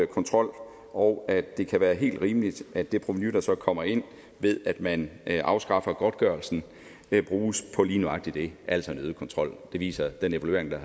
kontrol og at det kan være helt rimeligt at det provenu der så kommer ind ved at man afskaffer godtgørelsen bruges på lige nøjagtig det altså en øget kontrol det viser den evaluering der